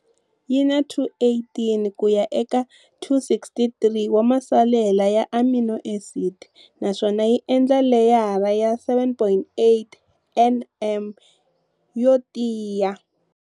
Yi na 218 kuya eka 263 wa masalela ya amino acid naswona yi endla leyara ya 7.8 nm yo tiya.